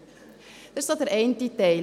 Dies ist der eine Teil: